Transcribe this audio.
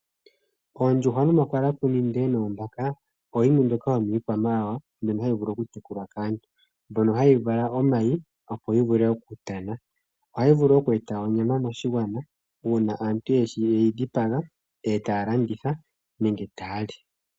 Oondjuhwa, omakalakuni noombaka oyo yimwe yomiikwamawawa mbyoka hayi vulu okutekulwa kaantu. Ohayi vala omayi opo yi vule okutana. Ohayi vulu okweeta onyama moshigwana uuna aantu ye yi dhipaga e taya landitha nenge taya li.